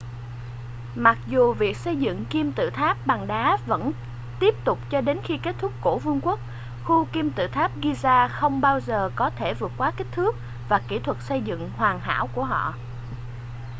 mặc dù việc xây dựng kim tự tháp bằng đá vẫn tiếp tục cho đến khi kết thúc cổ vương quốc khu kim tự tháp giza không bao giờ có thể vượt qua kích thước và kỹ thuật xây dựng hoàn hảo của họ